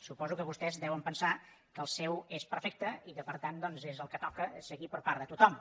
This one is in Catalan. suposo que vostès deuen pensar que el seu és perfecte i que per tant és el que toca seguir per part de tothom